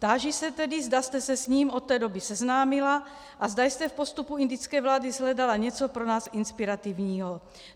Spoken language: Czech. Táži se tedy, zda jste se s ním od té doby seznámila a zda jste v postupu indické vlády shledala něco pro nás inspirativního.